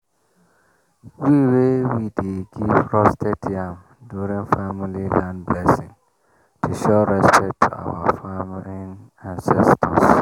we we dey give roasted yam during family land blessing to show respect to our farming ancestors.